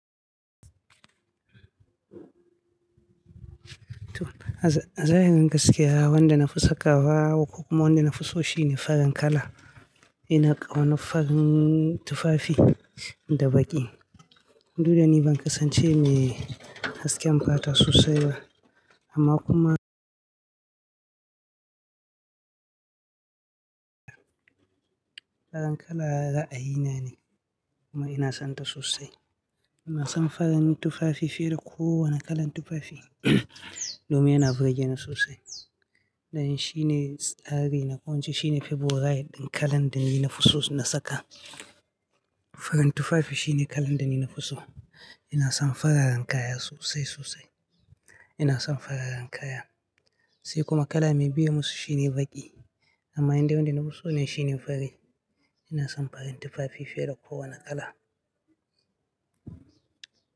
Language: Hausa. To, a zahirin gaskiya wanda na fi sakawa ko kuma wanda na fi so shine farin kala. Ina ƙauna farin tufafi da baƙi. Du da ni ban kasance mai hasken fata sosai ba amma kuma farin kala ra'ayina ne kuma ina son ta sosai. Ina son farin tufafi fiye da kowane kalan tufafi domin yana burge ni sosai. Dan shine tsari na, ko ince shine Faborai din kalan da ni na fi so na saka. Farin tufafi shine kalan da ni na fi so. Ina son fararen kaya sosai sosai. Ina son fararen kaya. Sai kuma kala mai biye musu shine baƙi amma indai wanda na fi so ne shine fari. Ina son farin tufafi fiye da kowane kala.